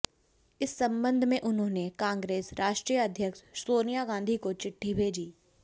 इस संबंध में उन्होंने कांग्रेस राष्ट्रीय अध्यक्ष सोनिया गांधी को चिट्ठी भेजी